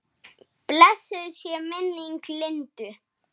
Blessuð sé minning Lindu.